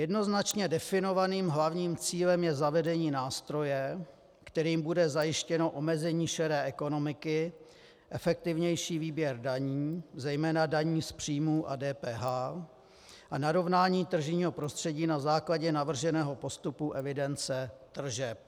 Jednoznačně definovaným hlavním cílem je zavedení nástroje, kterým bude zajištěno omezení šedé ekonomiky, efektivnější výběr daní, zejména daní z příjmu a DPH, a narovnání tržního prostředí na základě navrženého postupu evidence tržeb.